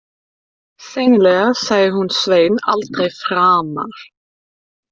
Sennilega sæi hún Svein aldrei framar.